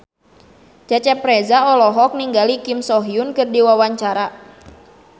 Cecep Reza olohok ningali Kim So Hyun keur diwawancara